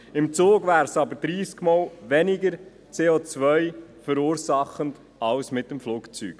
» Im Zug wäre es jedoch 30-mal weniger CO-verursachend als mit dem Flugzeug.